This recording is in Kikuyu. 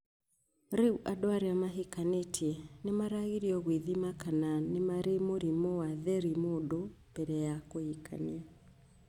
Rĩu andũ arĩa mahikanĩtie nĩ maragĩrĩrio gwĩthima kana nĩ marĩ mũrimũ wa therimũndũ mbere ya kũhikania.